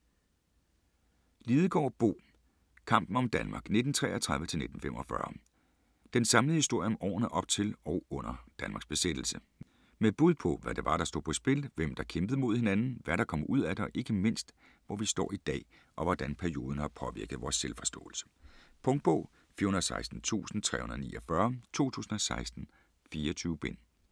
Lidegaard, Bo: Kampen om Danmark 1933-1945 Den samlede historie om årene op til og under Danmarks besættelse. Med bud på, hvad det var der stod på spil, hvem der kæmpede mod hinanden, hvad der kom ud af det, og ikke mindst, hvor vi står i dag og hvordan perioden har påvirket vores selvforståelse. Punktbog 416349 2016. 24 bind.